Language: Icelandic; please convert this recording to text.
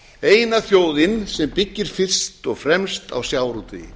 eina þjóðin sem byggir fyrst og fremst á sjávarútvegi